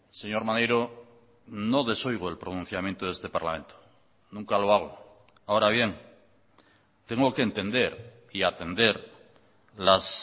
señor maneiro no desoigo el pronunciamiento de este parlamento nunca lo hago ahora bien tengo que entender y atender las